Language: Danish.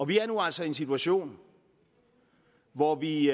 vi er nu altså i en situation hvor vi